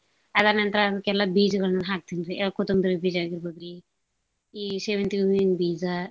ಅದಾದ್ ನಂತರ ಅದ್ಕೆಲ್ಲಾ ಬೀಜಗಳ್ನ್ ಹಾಕ್ತೀನ್ರಿ. ಅ ಕೊತಂಬ್ರಿ ಬೀಜ ಆಗಿರ್ಬೋದ್ರಿ ಈ ಶೇವಂತ್ಗೆ ಹೂವಿನ್ ಬೀಜ.